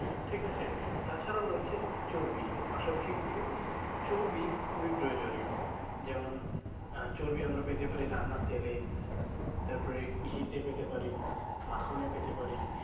ঠিক আছে? তা ছাড়া রয়েছে চর্বি, এর পাশা পাশি কিন্তু চর্বি খুবই প্রয়োজনীয়। যেমন আহ চর্বি আমরা পেতে পারি রান্নার তেলে তারপরে ঘি তে পেতে পারি, মাখনে পেতে পারি।